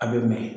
A bɛ mɛn